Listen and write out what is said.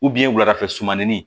wuladafɛ sumanin